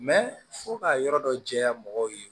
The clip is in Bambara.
fo ka yɔrɔ dɔ jɛya mɔgɔw ye